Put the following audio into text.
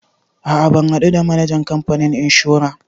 A'a ban haɗu da manajan kamfanin inshora.